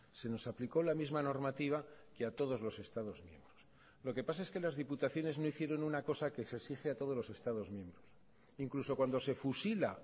se nos aplicó la misma normativa que a todos los estados miembros lo que pasa es que las diputaciones no hicieron una cosa que se exige a todos los estados miembros incluso cuando se fusila